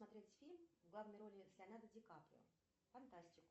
смотреть фильм в главной роли с леонардо дикаприо фантастику